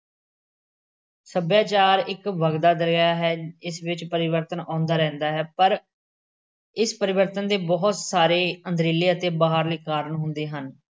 ਸੱਭਿਆਚਾਰ ਇੱਕ ਵੱਗਦਾ ਦਰਿਆ ਹੈ। ਇਸ ਵਿੱਚ ਪਰਿਵਰਤਨ ਆਉਂਦਾ ਰਹਿੰਦਾ ਹੈ। ਪਰ ਇਸ ਪਰਿਵਰਤਨ ਦੇ ਬਹੁਤ ਸਾਰੇ ਅੰਦਰੀਲੇ ਅਤੇ ਬਾਹਰਲੇ ਕਾਰਨ ਹੁੰਦੇ ਹਨ।